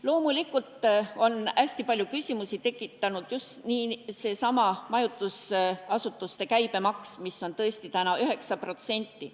Loomulikult on hästi palju küsimusi tekitanud just seesama majutusasutuste käibemaks, mis on tõesti praegu 9%.